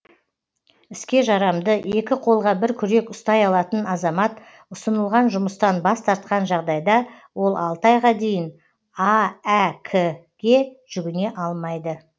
іске жарамды екі қолға бір күрек ұстай алатын азамат ұсынылған жұмыстан бас тартқан жағдайда ол алты айға дейін аәк ке жүгіне алмайды